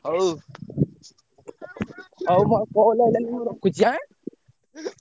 ହଉ ହଉ ମୋର call ଆଇଲାଣି ମୁଁ ରଖୁଛି ଏଁ?